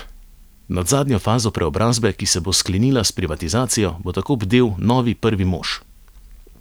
Nad zadnjo fazo preobrazbe, ki se bo sklenila s privatizacijo, bo tako bdel novi prvi mož.